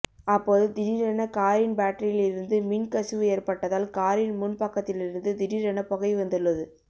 அப்போது திடீரென காரின் பேட்டரியில் இருந்து மின் கசிவு ஏற்பட்டதால் காரின் முன் பக்கத்திலிருந்து திடீரென புகை வந்துள்ளது